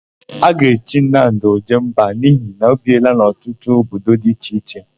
A ga-echi Nnamdị, Ojemba n'ihi na o biela n'ọtụtụ obodo dị iche iche.